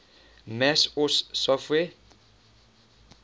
mac os software